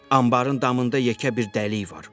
Anbarın damında yekə bir dəlik var.